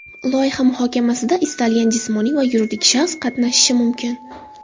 Loyiha muhokamasida istalgan jismoniy va yuridik shaxs qatnashishi mumkin.